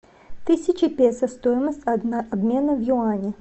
тысяча песо стоимость обмена в юани